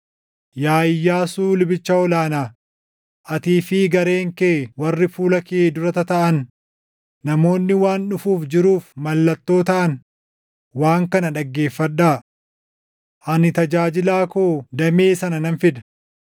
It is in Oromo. “ ‘Yaa Iyyaasuu lubicha ol aanaa, atii fi gareen kee warri fuula kee dura tataaʼan, namoonni waan dhufuuf jiruuf mallattoo taʼan waan kana dhaggeeffadhaa. Ani tajaajilaa koo Damee sana nan fida.